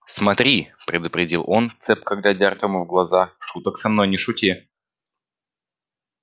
смотри предупредил он цепко глядя артему в глаза шуток со мной не шути